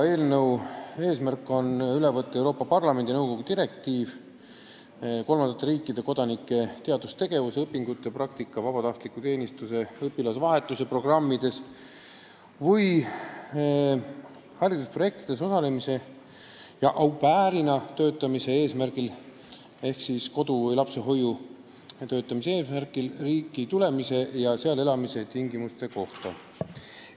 Selle eesmärk on üle võtta Euroopa Parlamendi ja nõukogu direktiiv kolmandate riikide kodanike teadustegevuse, õpingute, praktika, vabatahtliku teenistuse, õpilasvahetuse programmides või haridusprojektides osalemise ja au pair'ina töötamise eesmärgil ehk siis kodu- või lapsehoiu töötamise eesmärgil riiki tulemise ja seal elamise tingimuste kohta.